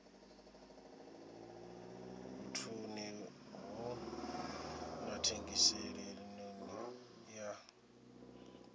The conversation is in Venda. vhuṱun ḓi na thengiselonn ḓa